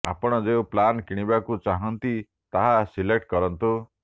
ଆପଣ ଯେଉଁ ପ୍ଲାନ କିଣିବାକୁ ଚାହାଁନ୍ତି ତାହା ସିଲେକ୍ଟ କରନ୍ତୁ